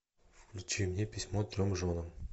включи мне письмо трем женам